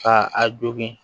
Ka a jogin